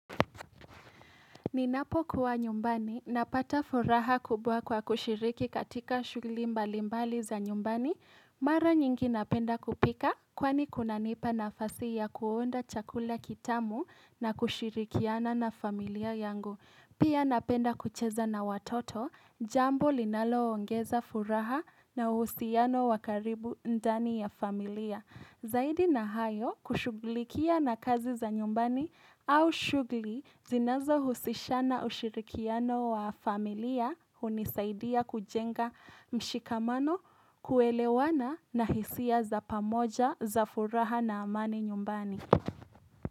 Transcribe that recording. Ninapokuwa nyumbani, napata furaha kubwa kwa kushiriki katika shughuli mbali mbali za nyumbani. Mara nyingi napenda kupika kwani kunanipa nafasi ya kuunda chakula kitamu na kushirikiana na familia yangu. Pia napenda kucheza na watoto, jambo linalo ongeza furaha na uhusiano wa karibu ndani ya familia. Zaidi na hayo, kushuglikia na kazi za nyumbani au shughuli zinazohusishana ushirikiano wa familia hunisaidia kujenga mshikamano, kuelewana na hisia za pamoja za furaha na amani nyumbani.